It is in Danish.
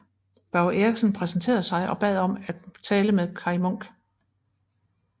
Børge Eriksen præsenterede sig og bad om at tale med Kaj Munk